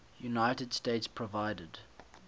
united states provided